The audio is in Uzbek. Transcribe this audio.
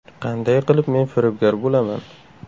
Qanday qilib men firibgar bo‘laman?